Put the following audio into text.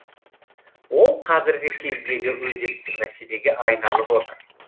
ол қазіргі кездегі өзекті мәселеге айналып отыр